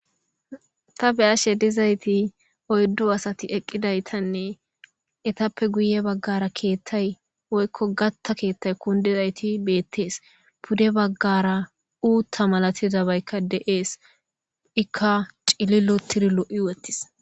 Tha be7ashe dizaythi oyddu asathi eqqidaythanne ethappe guye baggara keeththay woykko gaththa keeththay kunddidaythi beeththees; pude baggara uuththa malathizabaykka de7ees; ikka cililoththiri lo7i woththis.